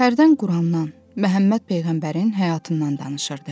Hərdən Qurandan, Məhəmməd peyğəmbərin həyatından danışırdı.